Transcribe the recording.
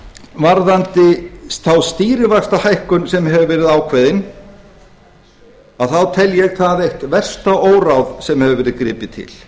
varðandi þá stýrivaxtahækkun sem hefur verið ákveðin þá tel ég það eitt versta óráð sem hefur verið gripið til